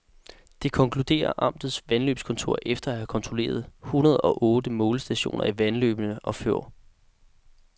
Det konkluderer amtets vandløbskontor efter at have kontrolleret hundrede og otte målestationer i vandløbene i fjor.